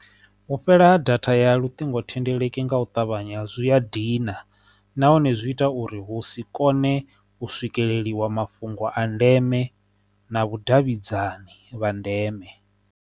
U fhela ha data ya luṱingothendeleki nga u ṱavhanya zwi a dina nahone zwi ita uri hu si kone u swikeleliwa mafhungo a ndeme na vhudavhidzani vha ndeme.